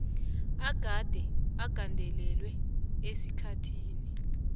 agade agandelelwe esikhathini